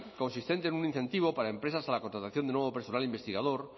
consistente en un incentivo para empresas a la contratación de nuevo personal investigador